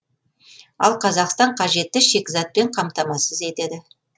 ал қазақстан қажетті шикізатпен қамтамасыз етеді